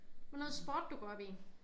Noget sport du går op i?